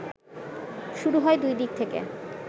শুরু হয় দুই দিক থেকে